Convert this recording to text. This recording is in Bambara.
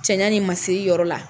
Cɛyan ni masiri yɔrɔ la.